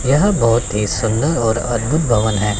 यह बहोत ही सुंदर और अद्भुत भवन है।